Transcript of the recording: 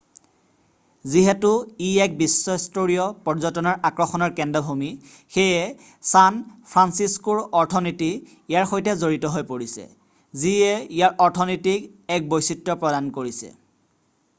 যিহেতু ই এক বিশ্বস্তৰীয় পৰ্যটনৰ আকৰ্ষণৰ কেন্দ্ৰভূমি সেয়ে ছান ফ্ৰানচিস্কোৰ অৰ্থনীতি ইয়াৰ সৈতে জড়িত হৈ পৰিছে যিয়ে ইয়াৰ অৰ্থনীতিক এক বৈচিত্ৰ্য প্ৰদান কৰিছে